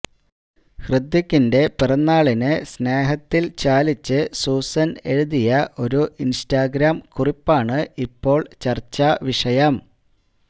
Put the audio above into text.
ഹൃത്വികിന്റെ പിറന്നാളിന് സ്നേഹത്തില് ചാലിച്ച് സൂസന് എഴുതിയ ഒരു ഇന്സ്റ്റാഗ്രാം കുറിപ്പാണ് ഇപ്പോള് ചര്ച്ചാ വിഷയം